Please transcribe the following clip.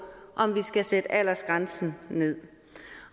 om vi skal sætte aldersgrænsen nederst